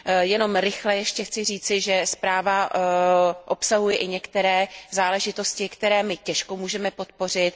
Jenom rychle ještě chci říci, že zpráva obsahuje i některé záležitosti, které my těžko můžeme podpořit.